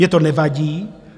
Mně to nevadí.